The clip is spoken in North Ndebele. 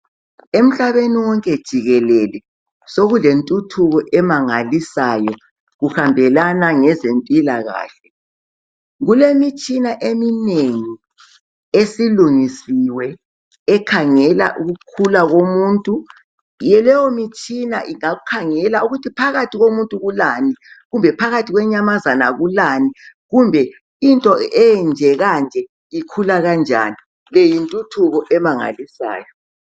Emhlabeni wonke jikelele sokulentuthuko emangalisayo kuhambela ngeze mpilakahle, kulemitshina eminengi esilungisiwe ekhangela ukukhula komuntu ke leyo mitshina ingakhangela ukuthi phakathi komuntu kulani kumbe phakathi kwenyamazana kulani kumbe into enje kanje ikhula kanjani leyi yintuthuko emangalisayo.